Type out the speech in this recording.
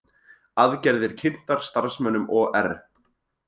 Aðgerðir kynntar starfsmönnum OR